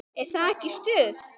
Er það ekki stuð?